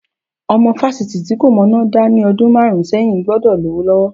Ọmọ fásitì tí kò mọná dá ní ọdún márùn-ún sẹ́yìn gbọ́dọ̀ lówó lọ́wọ́.